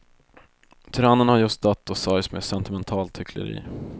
Tyrannen har just dött och sörjs med sentimentalt hyckleri.